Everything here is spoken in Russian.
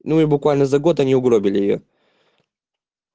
ну и буквально за год они угробили её